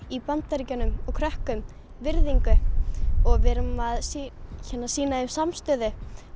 í Bandaríkjunum og krökkum virðingu og við erum að sýna að sýna þeim samstöðu